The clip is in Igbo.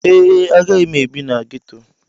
Ee, agaghị m ebi na ghetto.